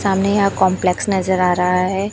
सामने यहां कॉम्प्लेक्स नजर आ रहा है।